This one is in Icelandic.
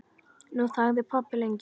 Nú þagði pabbi lengi.